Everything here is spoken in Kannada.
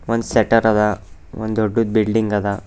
ಒಂದು ಸೆಟ್ಟರ್ ಅದ ಒಂದು ದೊಡ್ಡ ಬಿಲ್ಡಿಂಗ್ ಅದ.